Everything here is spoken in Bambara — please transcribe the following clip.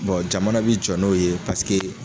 Bon jamana bi jɔ n'o ye paseke